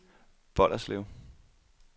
Bolderslev